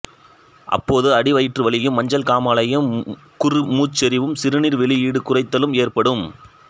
அப்போது அடிவயிற்று வலியும் மஞ்சள் காமாலையும் குறுமூச்செறிவும் சிறுநீர் வெளியீடு குறைத்தலும் ஏற்படும்